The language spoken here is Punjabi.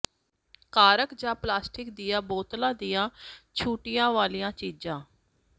ਕਾਰ੍ਕ ਜਾਂ ਪਲਾਸਟਿਕ ਦੀਆਂ ਬੋਤਲਾਂ ਦੀਆਂ ਛੁੱਟੀਆਂ ਵਾਲੀਆਂ ਚੀਜ਼ਾਂ